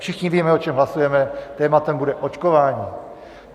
Všichni víme, o čem hlasujeme: tématem bude očkování.